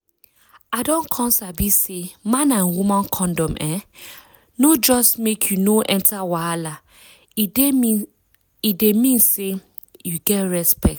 i don come sabi say man and woman condom[um]no just make you no enter wahala e dey mean say you get respect